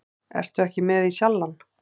Ertu ekki með í Sjallann?